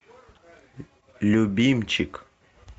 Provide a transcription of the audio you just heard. любимчик